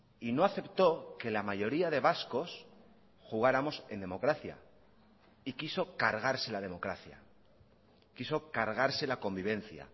y no aceptó que la mayoría de vascos jugáramos en democracia y quiso cargarse la democracia quiso cargarse la convivencia